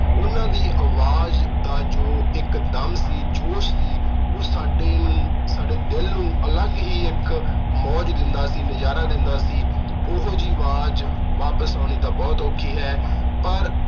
ਉਹਨਾਂ ਦੀ ਆਵਾਜ਼ ਦਾ ਜੋ ਇਕ ਦਮ ਸੀ, ਜੋਸ਼ ਸੀ, ਉਹ ਸਾਡੇ ਅਹ ਸਾਡੇ ਦਿਲ ਨੂੰ ਅਲੱਗ ਹੀ ਇਕ ਮੌਜ ਦਿੰਦਾ ਸੀ, ਨਜ਼ਾਰਾ ਦਿੰਦਾ ਸੀ। ਉਹੋ ਜੀ ਆਵਾਜ਼ ਵਾਪਸ ਆਉਣੀ ਤਾਂ ਬਹੁਤ ਔਖੀ ਹੈ ਪਰ